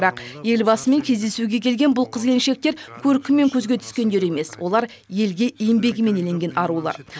бірақ елбасымен кездесуге келген бұл қыз келіншектер көркімен көзге түскендер емес олар елге еңбегімен еленген арулар